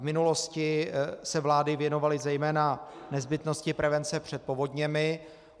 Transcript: V minulosti se vlády věnovaly zejména nezbytnosti prevence před povodněmi.